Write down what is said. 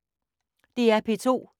DR P2